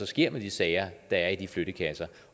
sker med de sager der er i de flyttekasser